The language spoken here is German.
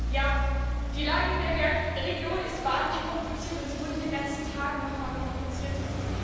Ja, die Lage in der Region ist wahrlich kompliziert, und sie wurde in den letzten Tagen nochmal komplizierter.